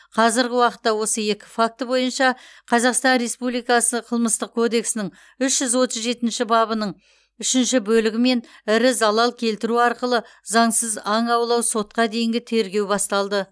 қазіргі уақытта осы екі факті бойынша қазақстан республикасы қылмыстық кодексінің үш жүз отыз жетінші бабының үшінші бөлігімен ірі залал келтіру арқылы заңсыз аң аулау сотқа дейінгі тергеу басталды